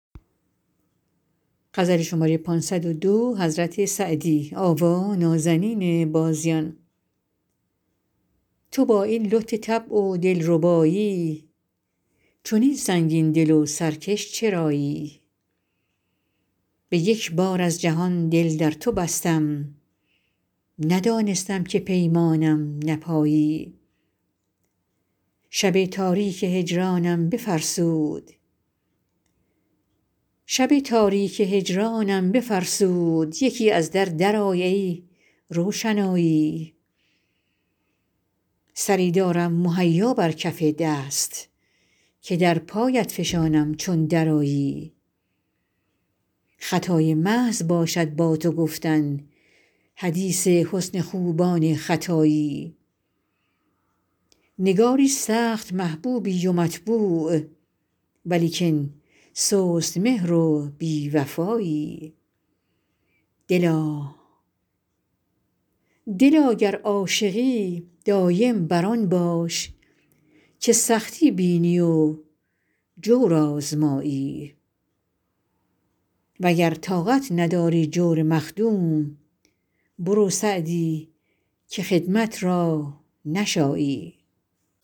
تو با این لطف طبع و دل ربایی چنین سنگین دل و سرکش چرایی به یک بار از جهان دل در تو بستم ندانستم که پیمانم نپایی شب تاریک هجرانم بفرسود یکی از در درآی ای روشنایی سری دارم مهیا بر کف دست که در پایت فشانم چون درآیی خطای محض باشد با تو گفتن حدیث حسن خوبان ختایی نگاری سخت محبوبی و مطبوع ولیکن سست مهر و بی وفایی دلا گر عاشقی دایم بر آن باش که سختی بینی و جور آزمایی و گر طاقت نداری جور مخدوم برو سعدی که خدمت را نشایی